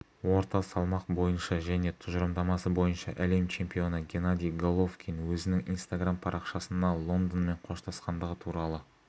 орта салмақ бойынша және тұжырымдамасы бойынша әлем чемпионы геннадий головкин өзінің инстаграмм парақшасына лондонмен қоштасқандығы туралы